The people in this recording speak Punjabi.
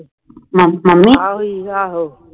ਆਹੋ ਓਹੀ ਆਹੋ